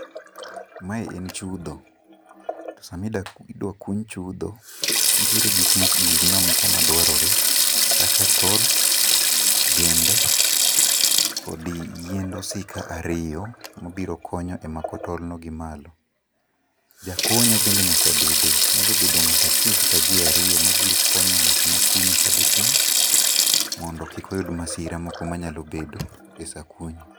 Mae en chudho, to sama idwa kuny chudho nitie gikma dwarore kaka tol, gembe, kodi yiend osika ariyo mabiro konyo mako tol no gi malo. Ja konyo bende nyaka bede nyalo bedo ngat achiel kata jii ariyo mabiro konyo ngat makunyo kadhi piny mondo kik oyud masira moko manya bede e saa kunyo